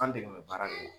An dɛmɛ baara de don